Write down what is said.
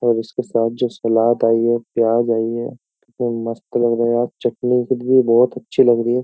और इसके साथ जो सलाद आई है प्याज आई है मस्त लग रहा है यार चटनी की भी बहुत अच्छी लग रही है।